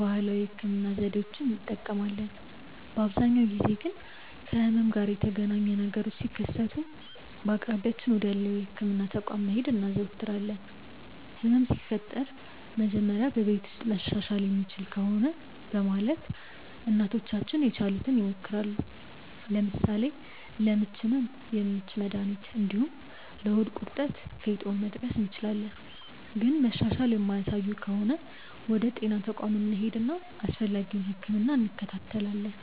ባህላዊ የህክምና ዘዴዎችን እንጠቀማለን። በአብዛኛው ጊዜ ግን ከህመም ጋር የተገናኘ ነገሮች ሲከሰቱ በአቅራቢያችን ወዳለው የህክምና ተቋም መሄድ እናዘወትራለን። ህመም ሲፈጠር መጀመሪያ በቤት ውስጥ መሻሻል የሚችል ከሆነ በማለት እናቶቻችን የቻሉትን ይሞክራሉ። ለምሳሌ ለምች ህመም የምች መድሀኒት እንዲሁም ለሆድ ቁርጠት ፌጦን መጥቀስ እንችላለን። ግን መሻሻል የማያሳዩ ከሆነ ወደ ጤና ተቋም እንሄድና አስፈላጊውን ህክምና እንከታተላለን።